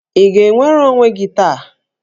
Ị ga-enwere onwe gị taa?